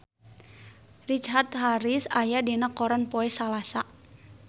Richard Harris aya dina koran poe Salasa